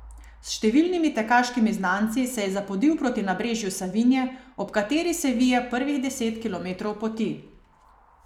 S številnimi tekaškimi znanci se je zapodil proti nabrežju Savinje, ob kateri se vije prvih deset kilometrov poti.